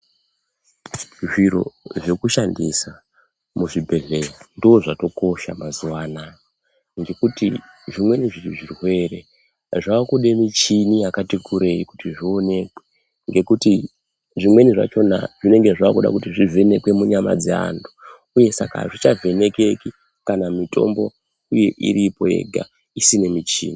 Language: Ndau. Zviro zveku shandisa mu zvibhedhleya ndo zvatokosha mazuva anaya ngekuti zvimweni zvirwere zvakude muchini yakati kurei kuti zvionekwe ngekuti zvimweni zvachona zvinonga zvakuda kuti zvi vhenekwe mu nyama dze antu uye saka azvicha vhenekeki kana mitombo iyi iripo yega isina muchini.